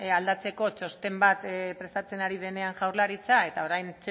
aldatzeko txosten bat prestatzen ari denean jaurlaritzak eta